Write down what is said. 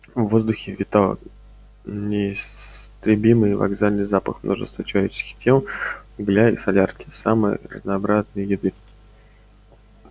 в воздухе витал неистребимый вокзальный запах множества человеческих тел угля и солярки самой разнообразной еды